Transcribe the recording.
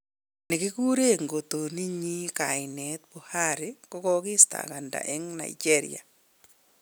Nekikuren ngotoniyin kainet 'Buhari' kogokistanganda en Nigeria